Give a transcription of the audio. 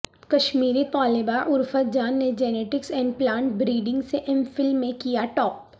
کشمیری طالبہ عرفت جان نے genetics and plant breeding سے ایم فل میں کیا ٹاپ